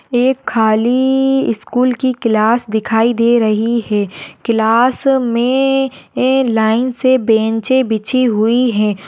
ये खाली स्कूल की क्लास दिखाई दे रही है क्लास मे ये लाइन्स से बेंचे बिछी हुई है।